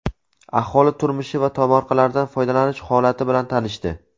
aholi turmushi va tomorqalardan foydalanish holati bilan tanishdi.